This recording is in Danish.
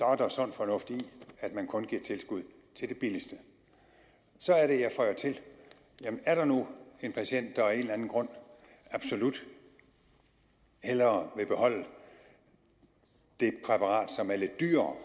er der sund fornuft i at man kun giver tilskud til det billigste så er det jeg føjer til jamen er der nu en patient der af en eller anden grund absolut hellere vil beholde det præparat som er lidt dyrere